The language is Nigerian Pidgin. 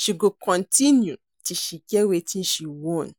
she go continue till she get wetin she want